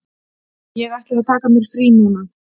Ég ætla að taka mér frí núna.